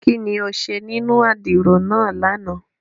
Kini o ṣe ninu àdiro náa làná?